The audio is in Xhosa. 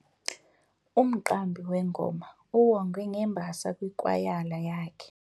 Umqambi wengoma uwongwe ngembasa yikwayala yakhe.